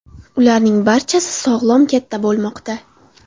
Ularning barchasi sog‘lom katta bo‘lmoqda.